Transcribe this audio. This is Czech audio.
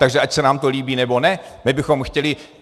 Takže ať se nám to líbí, nebo ne, my bychom chtěli...